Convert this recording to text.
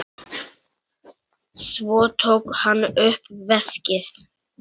Svo tók hann upp veskið.